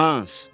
“Hans!